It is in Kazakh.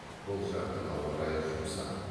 бұл жактың ауа райы жұмсақ